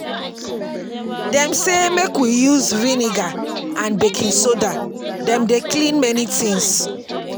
Dem sey make we use vinegar and baking soda, dem dey clean many tins.